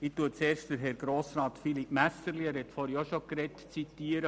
Ich zitiere zuerst Herrn Grossrat Philippe Messerli, der vorhin gesprochen hat.